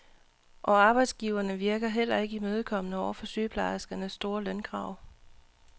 Og arbejdsgiverne virker heller ikke imødekommende over for sygeplejerskernes store lønkrav.